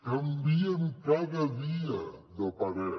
canvien cada dia de parer